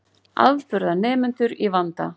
Afburðanemendur í vanda